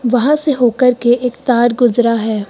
वहां से होकर के एक तार गुजरा है।